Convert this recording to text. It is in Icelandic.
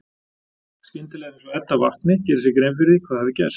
Skyndilega er eins og Edda vakni, geri sér grein fyrir því hvað hafi gerst.